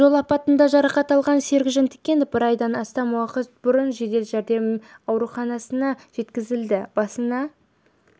жол апатында жарақат алған серік жантікенов бір айдан астам уақыт бұрын жедел жәрдем ауруханасына жеткізілді басына